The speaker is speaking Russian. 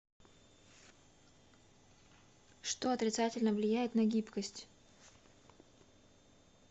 что отрицательно влияет на гибкость